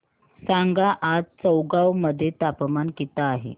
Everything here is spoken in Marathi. सांगा आज चौगाव मध्ये तापमान किता आहे